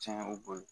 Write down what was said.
Cɛn o bolo